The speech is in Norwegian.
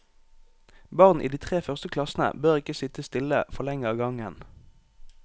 Barn i de tre første klassene bør ikke sitte stille for lenge av gangen.